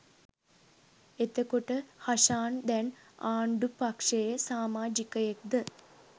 එතකොට හෂාන් දැන් ආණ්ඩු පක්ෂයේ සාමාජිකයෙක්ද?